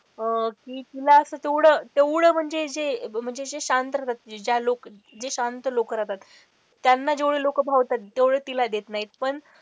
अह तिला असं तेवढं तेवढं म्हणजे जे म्हणजे जे शांत रहातात ज्या लोकं जे शांत लोक रहातात त्यांना लोक जेवढं भावतात तेवढ तिला देत नाहीत.